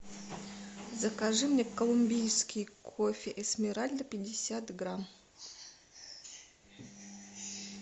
закажи мне колумбийский кофе эсмеральда пятьдесят грамм